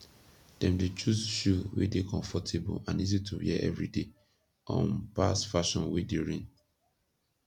dem dey choose shoe wey dey komfortabol and easy to wear evryday um pass fashion wey dey reign